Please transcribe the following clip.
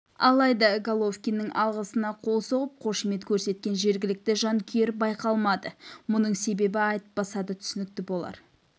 алайда головкиннің алғысына қол соғып қошемет көрсеткен жергілікті жанкүйер байқалмады мұның себебі айтпаса да түсінікті болар